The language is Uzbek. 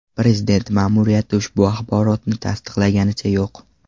Prezident ma’muriyati ushbu axborotni tasdiqlaganicha yo‘q.